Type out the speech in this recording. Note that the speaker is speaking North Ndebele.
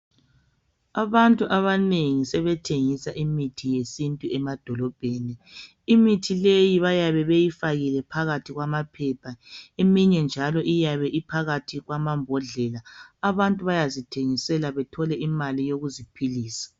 Abantu abanengi sebethengisa imithi yesintu emadolobheni. Imithi leyi byabe beyifakile phakathi kwamaphepha. Eminye njalo bayabe beyifakile phakathi kwamambodlela. Abantu bayazithengisela bethole imali yokuziphilisa.